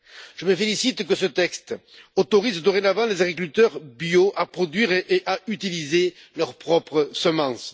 Je me félicite que ce texte autorise dorénavant les agriculteurs bio à produire et à utiliser leurs propres semences.